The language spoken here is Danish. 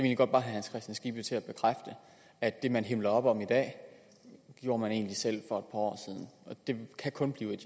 herre hans kristian skibby til at bekræfte at det man himler op om i dag gjorde man selv for et år siden det kan kun blive